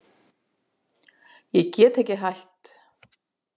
Ég get ekki hætt.